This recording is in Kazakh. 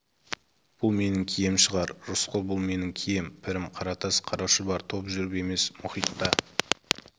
бұл менің кием шығар рысқұл бұл менің кием пірім қаратас қара шұбар топ жүріп емес мұхитта